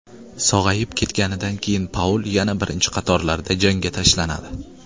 Sog‘ayib ketganidan keyin Paul yana birinchi qatorlarda janga tashlanadi.